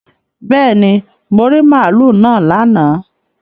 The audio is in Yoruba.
Bẹ́ẹ̀ni, mo rí màlúù náà lánàá